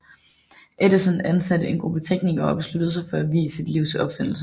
Edison ansatte en gruppe teknikere og besluttede sig for at vie sit liv til opfindelser